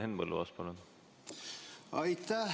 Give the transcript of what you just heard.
Henn Põlluaas, palun!